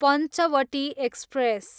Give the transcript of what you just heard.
Panchavati express